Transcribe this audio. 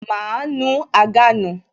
Máa nu àga nù